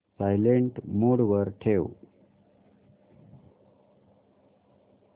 silent mode वर ठेव